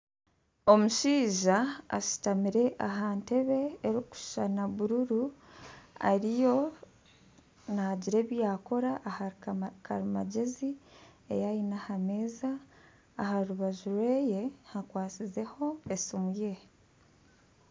Omushaija ashuutamire aha ntebbe erikishushana buruuru ariyo nagira ebi yakora ahari karimangyezi eyi aine aha meeza aharubaju rwe hakwasizeho esiimu ye.